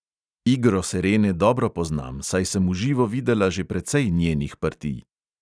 Igro serene dobro poznam, saj sem v živo videla že precej njenih partij.